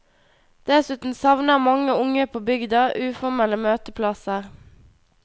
Dessuten savner mange unge på bygda uformelle møteplasser.